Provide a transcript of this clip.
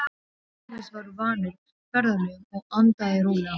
Tómas var vanur ferðalögum og andaði rólega.